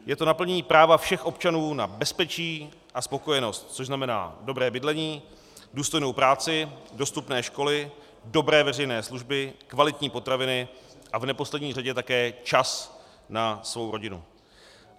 Je to naplnění práva všech občanů na bezpečí a spokojenost, což znamená dobré bydlení, důstojnou práci, dostupné školy, dobré veřejné služby, kvalitní potraviny a v neposlední řadě také čas na svou rodinu.